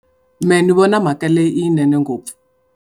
Mehe ni vona mhaka leyi i leyinene ngopfu.